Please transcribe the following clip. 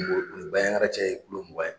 ni Bayaŋara cɛ ye kulo mugan ye